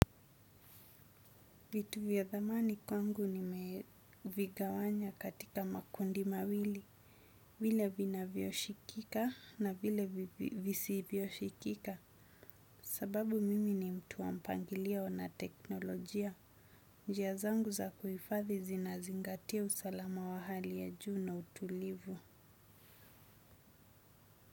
Vitu vya dhamani kwangu nimevigawanya katika makundi mawili. Vile vinavyoshikika na vile visivyoshikika. Sababu mimi ni mtu wa mpangilio na teknolojia. Njia zangu za kuhifathi zinazingatia usalama wa hali ya juu na utulivu.